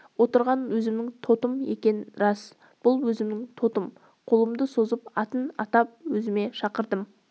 отырған өзімнің тотым екен рас бұл өзімнің тотым қолымды созып атын атап өзіме шақырдым